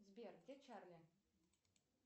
сбер где чарли